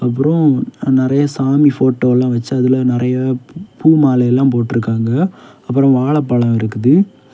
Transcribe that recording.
அப்ரோம் நறைய சாமி ஃபோட்டோல்லா வச்சு அதுல நரைய பூ மாலையெல்லா போட்ருக்காங்க அப்ரோ வாழப்பழம் இருக்குது.